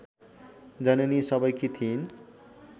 जननी सबैकी थिइन्